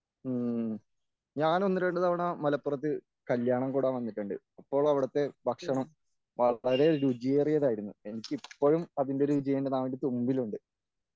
ഉം ഞാൻ ഒന്നുരണ്ടു തവണ മലപ്പുറത്ത് കല്യാണം കൂടാൻ വന്നിട്ടുണ്ട്. അപ്പോൾ അവിടുത്തെ ഭക്ഷണം വളരെ രുചിയേറിയതായിരുന്നു എനിക്കിപ്പോഴും അതിൻ്റെ രുചിയെൻ്റെ നാവിൻ്റെതുമ്പിലുണ്ട്.